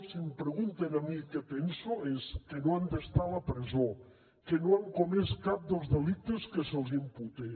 si em pregunten a mi què penso és que no han d’estar a la presó que no han comès cap dels delictes que se’ls imputen